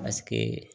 Paseke